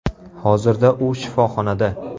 Hozirda u shifoxonada.